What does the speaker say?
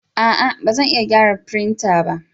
A'a! Ba zan iya gyara firinta ba.